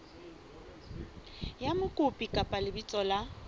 la mokopi kapa lebitso la